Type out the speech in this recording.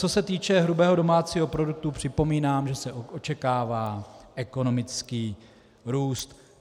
Co se týče hrubého domácího produktu, připomínám, že se očekává ekonomický růst.